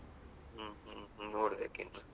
ಹ್ಮ್ ಹ್ಮ್ ನೋಡ್ಬೇಕು ಇನ್ನು.